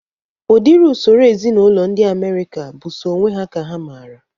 Udiri usoro ezinaụlọ ndị Amerịka bụ sọ onwe ha ka ha mara